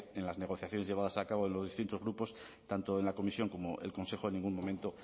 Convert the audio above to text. que en las negociaciones llevadas a cabo de los distintos grupos tanto en la comisión como en el consejo en ningún momento